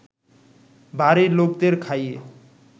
বাড়ির লোকদের খাইয়ে